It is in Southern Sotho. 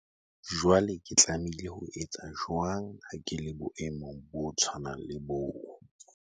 Jwale ke tlamehile ho etsa jwang ha ke le boemong bo tshwanang le boo?